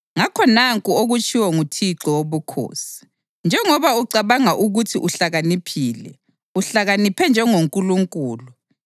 Ngakho nanku okutshiwo nguThixo Wobukhosi: Njengoba ucabanga ukuthi uhlakaniphile, uhlakaniphe njengoNkulunkulu,